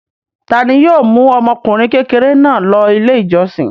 Ta ni yóò mú ọmọkùnrin kékeré náà lọ Ilé-ìjọsìn?